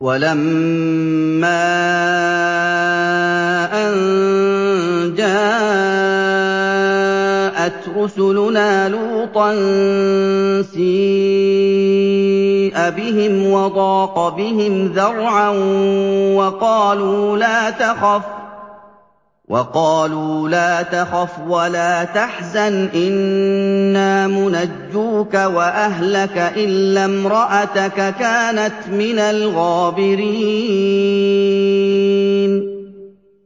وَلَمَّا أَن جَاءَتْ رُسُلُنَا لُوطًا سِيءَ بِهِمْ وَضَاقَ بِهِمْ ذَرْعًا وَقَالُوا لَا تَخَفْ وَلَا تَحْزَنْ ۖ إِنَّا مُنَجُّوكَ وَأَهْلَكَ إِلَّا امْرَأَتَكَ كَانَتْ مِنَ الْغَابِرِينَ